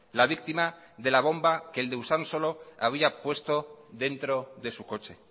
la víctima de la bomba que el de usansolo había puesto dentro de su coche